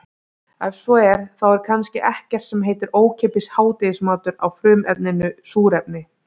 Ef svo er þá er kannski ekkert sem heitir ókeypis hádegismatur á frumefninu súrefni.